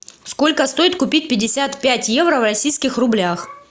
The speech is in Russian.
сколько стоит купить пятьдесят пять евро в российских рублях